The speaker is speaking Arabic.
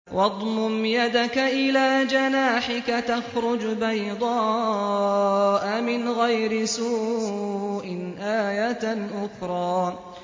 وَاضْمُمْ يَدَكَ إِلَىٰ جَنَاحِكَ تَخْرُجْ بَيْضَاءَ مِنْ غَيْرِ سُوءٍ آيَةً أُخْرَىٰ